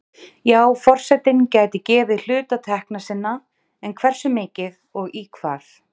Já forsetinn gæti gefið hluta tekna sinna, en hversu mikið og í hvað?